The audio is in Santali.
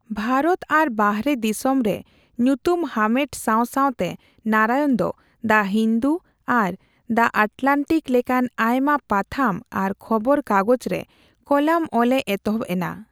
ᱵᱷᱟᱨᱚᱛ ᱟᱨ ᱵᱟᱦᱨᱮ ᱫᱤᱥᱟᱹᱢ ᱨᱮ ᱧᱩᱛᱩᱢ ᱦᱟᱢᱮᱴ ᱥᱟᱣ ᱥᱟᱣᱛᱮ ᱱᱟᱨᱟᱭᱚᱱ ᱫᱚ ''ᱫᱟ ᱦᱤᱱᱫᱩ'' ᱟᱨ '' ᱫᱟ ᱟᱴᱞᱟᱱᱴᱤᱠ'' ᱞᱮᱠᱟᱱ ᱟᱭᱢᱟ ᱯᱟᱛᱷᱟᱢ ᱟᱨ ᱠᱷᱚᱵᱚᱨ ᱠᱟᱜᱚᱡᱽ ᱨᱮ ᱠᱚᱞᱟᱢ ᱚᱞᱮ ᱮᱛᱚᱦᱚᱵ ᱮᱱᱟ ᱾